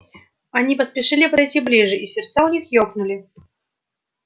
они поспешили пройти ближе и сердца у них ёкнули